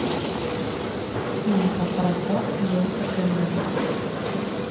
фильм про пароход джеймса кемерона